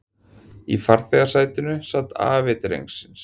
Í farþegasætinu sat afi drengsins